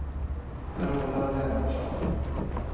Carola Lennartsson